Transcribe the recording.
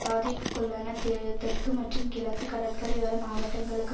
பாதிப்புக்குள்ளான தெ தெற்கு மற்றும் கிழக்கு கடற்கரையோர மாவட்டங்களுக்கு